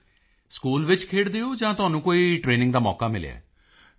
Modi ji school ਵਿੱਚ ਖੇਡਦੇ ਹੋ ਜਾਂ ਤੁਹਾਨੂੰ ਕੋਈ ਟਰੇਨਿੰਗ ਦਾ ਮੌਕਾ ਮਿਲਿਆ ਹੈ